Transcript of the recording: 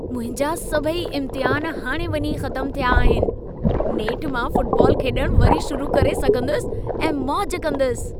मुंहिंजा सभई इम्तिहान हाणे वञी ख़तम थिया आहिनि। नेठु मां फुटबॉल खेॾण वरी शुरू करे सघंदुसि ऐं मौज कंदसि।